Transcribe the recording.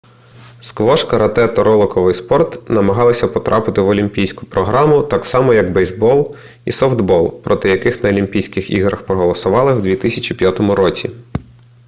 сквош карате та роликовий спорт намагалися потрапити в олімпійську програму так само як бейсбол і софтбол проти яких на олімпійських іграх проголосували в 2005 році